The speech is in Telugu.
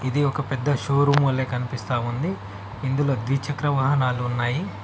ఇది ఒక పెద్ద షోరూం వలె కనిపిస్తా ఉంది ఇందులో ద్విచక్ర వాహనాలు ఉన్నాయి.